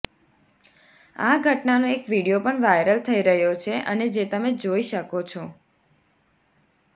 આ ઘટનાનો એક વીડિયો પણ વાયરલ થઈ રહ્યો છે અને જે તમે જોઈ શકો છો